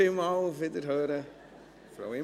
Vielen Dank und auf Wiederhören, Frau Imboden!